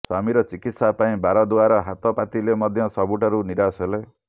ସ୍ବାମୀର ଚିକିତ୍ସା ପାଇଁ ବାର ଦୂଆର ହାତ ପାତିଲେ ମଧ୍ୟ ସବୁଠାରୁ ନିରାଶ ହେଲେ